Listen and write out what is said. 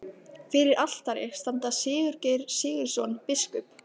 Fyrir altari standa Sigurgeir Sigurðsson, biskup